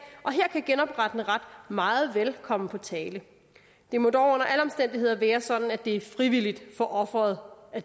og her kan genoprettende ret meget vel komme på tale det må dog under alle omstændigheder være sådan at det er frivilligt for offeret at